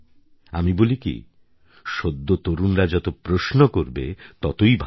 আমি বলি কি সদ্য তরুণরা যত প্রশ্ন করবে ততই ভালো